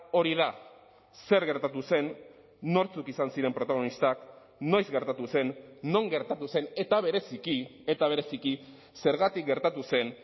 hori da zer gertatu zen nortzuk izan ziren protagonistak noiz gertatu zen non gertatu zen eta bereziki eta bereziki zergatik gertatu zen